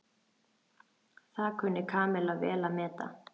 Það kunni Kamilla vel að meta.